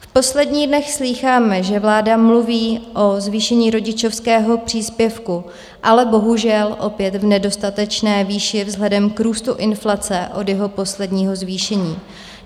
V posledních dnech slýcháme, že vláda mluví o zvýšení rodičovského příspěvku, ale bohužel opět v nedostatečné výši vzhledem k růstu inflace od jeho posledního zvýšení.